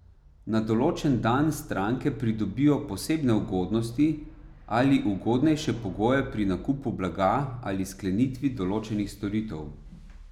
Na določen dan stranke pridobijo posebne ugodnosti ali ugodnejše pogoje pri nakupu blaga ali sklenitvi določenih storitev.